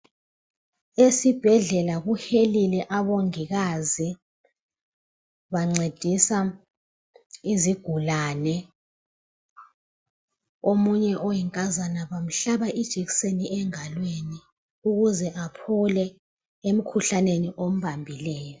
Esibhedlela kuhelele omongikazi bancedisa izigulane , omunye oyinkazana bamhlaba ijekiseni esandleni ukuze aphole .